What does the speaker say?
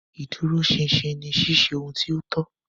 Iduroṣinṣin ni ṣiṣe ohun ti o tọ.